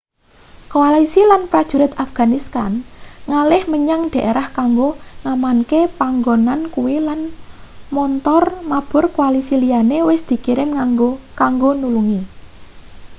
koalisi lan prajurit afghanistan ngalih menyang daerah kanggo ngamanke panggonan kuwi lan montor mabur koalisi liyane wis dikirim kanggo nulungi